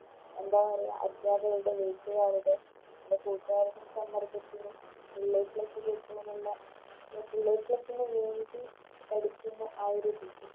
എന്താ പറയാ അധ്യാപകരുടെ വീട്ടുകാരുടെ വീട്ടുകാരുടെ സമ്മർദ്ദത്തിനും Full a plus കിട്ടാനുള്ള അല്ലെ A plus വേണ്ടി പഠിക്കുന്ന ആ ഒരു രീതി